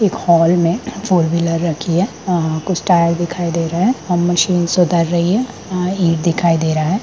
एक हॉल में फोरवीलर रखी है कुछ टायर दिखाई दे रहे हैं और मशीन उत्तर रही हैं इट दिखाई दे रहा हैं।